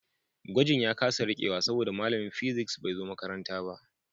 Gwajin ya kasa rikewa saboda malamin physics bai zo makaranta ba